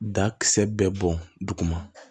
Dakisɛ bɛɛ bɔn duguma